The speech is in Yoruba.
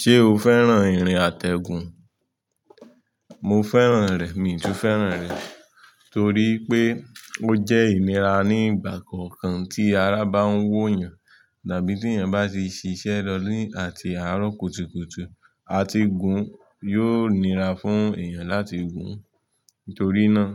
Ṣé o fẹ́ràn ìrìn àtẹ̀gùn? Mo fẹ́ràn rẹ̀. Mi tún fẹ́ràn rẹ̀ torí pé ó jẹ́ ìnira ní ìgbà kọ̀ọ̀kan tí ara bá ń wó yan dàbí tí èèyàn bá ṣe ṣiṣẹ́ lọ́ni àti àárọ̀ kùtùkùtù, àti gun yóò nira fún èèyàn láti gun. Nítorí náà,